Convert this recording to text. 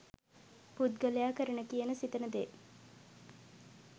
පුද්ගලයා කරන කියන සිතන දේ